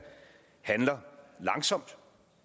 handler langsomt